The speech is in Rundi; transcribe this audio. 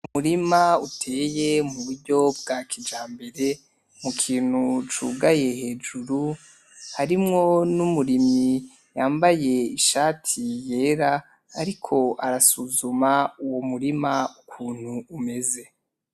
Umurima uteye muburyo bwakijambere mu kintu cugaye hejuru harimwo numurimyi yambaye ishati yera ariko arasuzuma uwo murima ukuntu umeze.